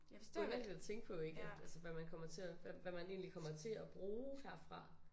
Nødvendigt at tænke på ik at altså hvad man kommer til at hvad hvad man egentlig kommer til at bruge herfra